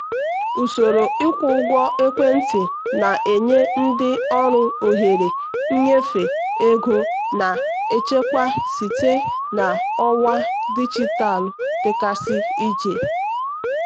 usoro ịkwụ ụgwọ ekwentị na-enye ndị ọrụ ohere ịnyefe ego na nchekwa site na ọwa dijitalụ dịgasị iche.